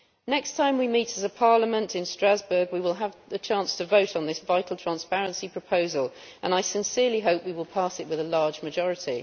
Next time we meet as a Parliament in Strasbourg, we will have the chance to vote on this vital transparency proposal, and I sincerely hope we will pass it with a large majority.